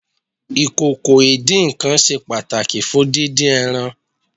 Ìkòkò ìdín-nǹkan ṣe pàtàkì fún dídín ẹran.